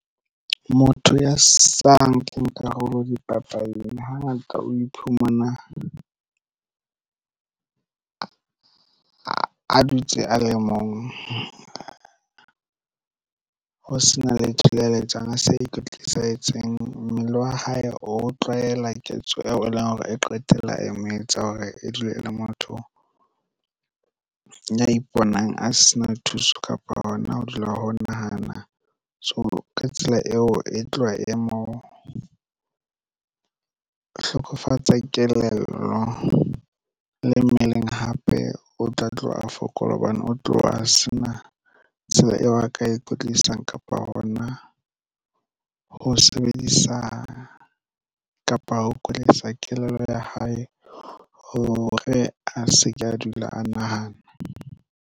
Motho ya sa nkeng karolo dipapading hangata o iphumana a dutse a le mong ho sena letho leo a le etsang a sa ikwetlisa. Etseng mmele wa hae o tlwaela ketso eo e leng hore e qetella e mo etsa hore e dule e le motho ya iponang a se na thuso kapa hona ho dula ho nahana. So, ka tsela eo e tloha e mo hlokofatsa kelello le mmeleng hape o tla tloha a fokola hobane o tloha a se na tsela eo a ka e kwetlisang kapa hona ho sebedisa kapa ho kwetlisa kelello ya hae hore a se ke a dula a nahana.